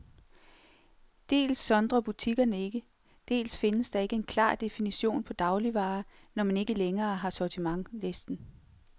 Dels sondrer butikkerne ikke, dels findes der ikke en klar definition på dagligvarer, når man ikke længere har sortimentslisten.